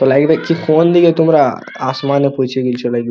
তো লাইব দেখছি হচ্ছে কোন দিকে তোমরা আসমানে পৌঁছে গেছো লাইব--